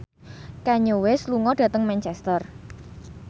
Kanye West lunga dhateng Manchester